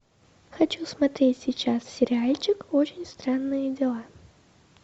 хочу смотреть сейчас сериальчик очень странные дела